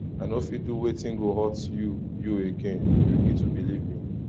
i no fit do wetin go hurt you you again you need to believe me